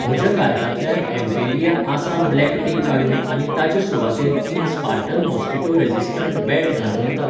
म्हज्या कार्टांतल्यान Emperia Assam black tea काडून आनी ताचे सुवातेर तीन स्पार्टन मॉस्किटो रेझिस्टंट बॅट घालूं येता?